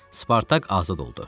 Spartak azad oldu.